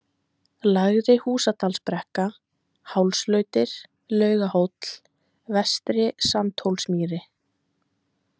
Lægri-Húsadalsbrekka, Hálslautir, Laugahóll, Vestri-Sandhólsmýri